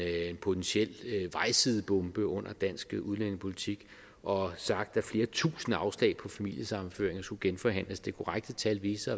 potentiel vejsidebombe under dansk udlændingepolitik og har sagt at flere tusinde afslag på familiesammenføringer skulle genforhandles det korrekte tal viste